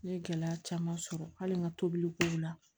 N ye gɛlɛya caman sɔrɔ hali n ka tobilikow la